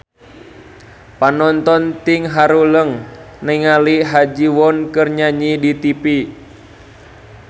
Panonton ting haruleng ningali Ha Ji Won keur nyanyi di tipi